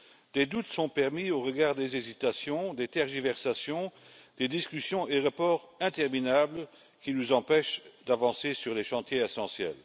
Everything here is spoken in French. Des doutes sont permis au regard des hésitations, des tergiversations, des discussions et reports interminables qui nous empêchent d'avancer sur les chantiers essentiels.